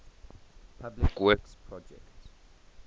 public works projects